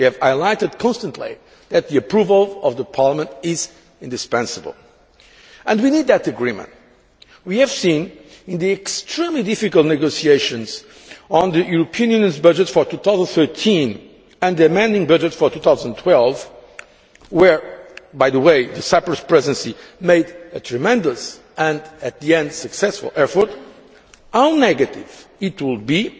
We have highlighted constantly that the approval of the Parliament is indispensable. And we need that agreement. We have seen, in the extremely difficult negotiations on the European Union's budget for 2013 and the amending budget for 2012 where, by the way, the Cyprus Presidency made a tremendous and at the end successful effort how negative it would